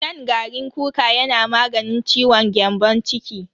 Shan garin kuka yana maganin ciwon gyambon ciki.